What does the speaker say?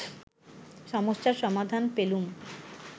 সমস্যার সমাধান পেলুম